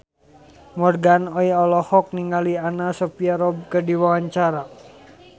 Morgan Oey olohok ningali Anna Sophia Robb keur diwawancara